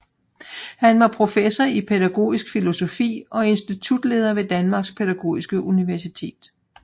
Han var professor i pædagogisk filosofi og institutleder ved Danmarks Pædagogiske Universitet